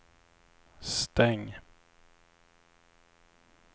stäng